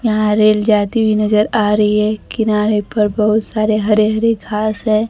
यहां रेल जाती हुई नजर आ रही है किनारे पर बहोत सारे हरे हरे घास है।